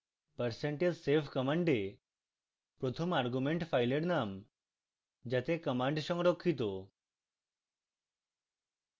percentage save command প্রথম argument file name যাতে command সংরক্ষিত